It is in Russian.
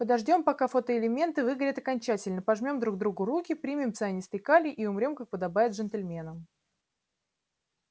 подождём пока фотоэлементы выгорят окончательно пожмём друг другу руки примем цианистый калий и умрём как подобает джентльменам